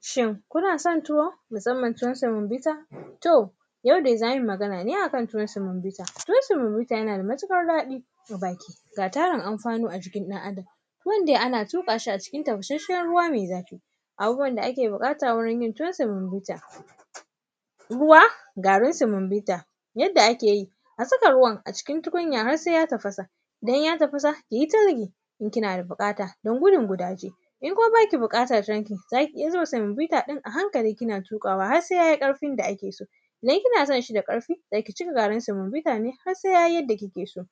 Shin kuna san tuwo, kaman tuwon samabita to taudai za mu yi Magana ne akan tuwon semobita, tuwon semobita yana da matuƙar daɗi ga tarun anfani a jikin ɗan’Adam tuwun dai ana tuƙa shi a cikin tafasashshen ruwa ne mai zafi. Abubuwan da ake buƙata wajen yin yuwan semobita ruwa garin semobita. Yadda ake yi a zuba ruwan a cikin tukunya har se ya tafasa inyatafasa yaita nuna inkinada buƙata in kuma baki buƙata zaki iya zuba semobita ɗainki a hankali kina tuƙawa harse yayi ƙarfin da akeso idan kisananshi da ƙarfi zaki cika garin semobitane harse yayi yanda kikeso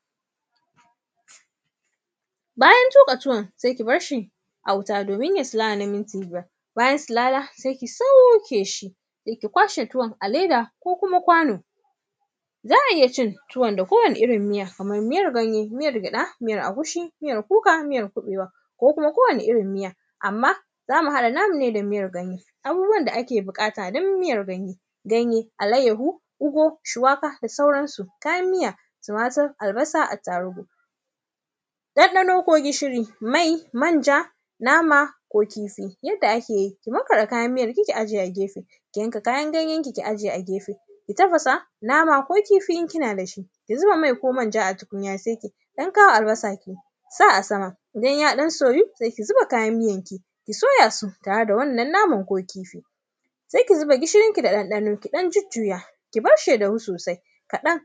bayantuƙa tuwon si kibarshi a wuta domin yasilala na minti biyar bayan silala sai ki saukeshi ki kwashe tuwan aleda ko kuma kwano za a iya cin tuwan da kowani irin miya kaman miyan ganye gyaɗa miyan agushi miayr kuka miyar kuɓewa da kuma kowani irin miya anma zamu haɗa na mune da miyan ganye abubuwan da ake buƙatan dun yin miyanm ganye ganye alaiyahu ogun shiwaka da sauransu kayan miya timatir albasa attarigu ɗanɗano ko gishiri manja nama ko kifi yanda akeyi ki markaɗa kayan miyanki ki aje a gyefe kiyanka kayan ganyanki ki aje a gyefe ki tafasa nama ko kifi in kinadashi zuba mai ko manja a tukunya sai kiɗan kawo albasanki ki ɗan sa asama idan ya ɗan soyo se kizuba kayan miyanki kisoyaso tare da wannan naman ko kifi se kizuba gishirinki da ɗanɗanonki ki zuya kibarshi ya dafu sosai kaɗan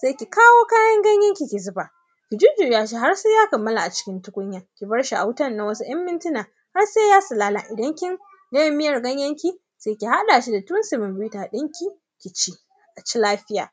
se kikawo kayan gayenki ki zuba kijujjuyashi harse ya kamala a tukunyan se kibarshi a tukunyan na wasu ‘yan mintuna harse ya silala idan kin gama miyan ganyenki se kihaɗashi da tuwan semobita ɗinki kici kici lafiya.